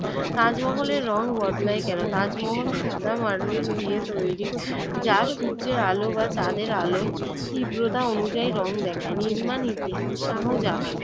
তাজমহলের রং বদলায় না কেন? তাজমহল সাদা মার্বেল দিয়ে তৈরি যা সূর্যের আলো বা চাঁদের আলোয় তীব্রতা অনুযায়ী রং দেখায়। নির্মাণ ইতিহাস- শাহজাহান